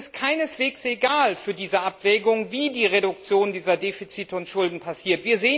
Allerdings ist es keineswegs egal für diese Abwägung, wie die Reduzierung dieser Defizite und Schulden geschieht.